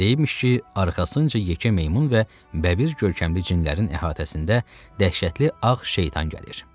Deyibmiş ki, arxasınca yekə meymun və bəbir görkəmli cinlərin əhatəsində dəhşətli ağ şeytan gəlir.